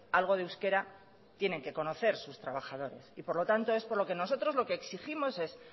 algo de euskera tienen que conocer sus trabajadores y por lo tanto es por lo que nosotros exigimos es